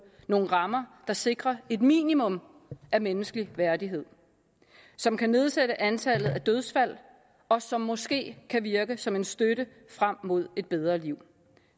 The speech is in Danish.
nogle rammer der sikrer et minimum af menneskelig værdighed som kan nedsætte antallet af dødsfald og som måske kan virke som en støtte frem mod et bedre liv